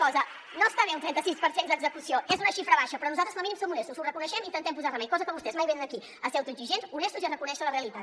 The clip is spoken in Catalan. cosa no està bé un trenta sis per cent d’execució és una xifra baixa però nosaltres com a mínim som honestos ho reconeixem i hi intentem posar remei cosa que vostès mai venen aquí a ser autoexigents honestos i a reconèixer la realitat